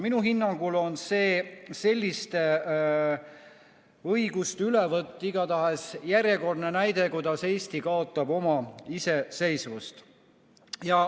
Minu hinnangul on selliste õiguste ülevõtt igatahes järjekordne näide, kuidas Eesti kaotab oma iseseisvust.